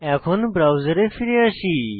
এখন ব্রাউজারে ফিরে আসি